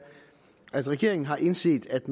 at regeringen har indset at